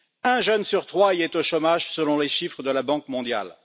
Un jeune sur trois y est au chômage, selon les chiffres de la Banque mondiale.